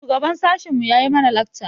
Shugaban sashin mu yayi mana lakca.